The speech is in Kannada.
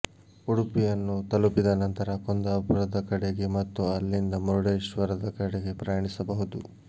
ಉಡುಪಿಯನ್ನು ತಲುಪಿದ ನಂತರ ಕುಂದಾಪುರದ ಕಡೆಗೆ ಮತ್ತು ಅಲ್ಲಿಂದ ಮುರುಡೇಶ್ವರದ ಕಡೆಗೆ ಪ್ರಯಾಣಿಸಬಹುದು